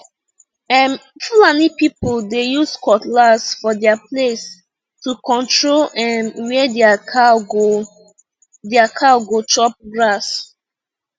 um fulani people dey use cutlass for their place to control um where their cow go their cow go chop grass